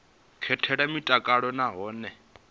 katela mutakalo na hone hune